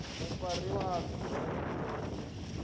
mufariwa a bve dzhele u